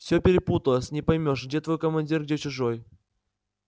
все перепуталось не поймёшь где твой командир где чужой